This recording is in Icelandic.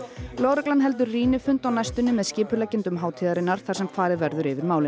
lögreglan heldur rýnifund á næstunni með skipuleggjendum hátíðarinnar þar sem farið verður yfir málin